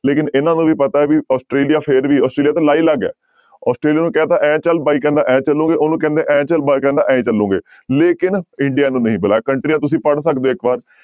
ਲੇਕਿੰਨ ਇਹਨਾਂ ਨੂੰ ਵੀ ਪਤਾ ਹੈ ਵੀ ਆਸਟ੍ਰੇਲੀਆ ਫਿਰ ਵੀ ਆਸਟ੍ਰੇਲੀਆ ਤਾਂ ਲਾਈਲੱਗ ਹੈ ਆਸਟ੍ਰੇਲੀਆ ਨੂੰ ਕਹਿ ਦਿੱਤਾ ਇਉਂ ਚੱਲ, ਬਾਈ ਕਹਿੰਦਾ ਇਉਂ ਚੱਲੋਗੇ, ਉਹਨੂੰ ਕਹਿੰਦੇ ਇਉਂ ਚੱਲ ਬਾਈ ਕਹਿੰਦਾ ਇਉਂ ਚੱਲੋਗੇ ਲੇਕਿੰਨ india ਨੂੰ ਨਹੀਂ ਬੁਲਾਇਆ ਕੰਟਰੀਆਂ ਤੁਸੀਂ ਪੜ੍ਹ ਸਕਦੇ ਹੋ ਇੱਕ ਵਾਰ,